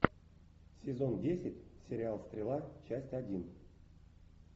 сезон десять сериал стрела часть один